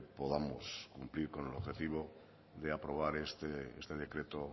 podamos cumplir con el objetivo de aprobar este decreto